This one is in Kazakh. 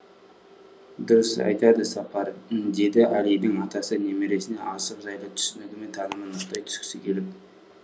дұрыс айтады сапар деді әлидің атасы немересінің асық жайлы түсінігі мен танымын нықтай түскісі келіп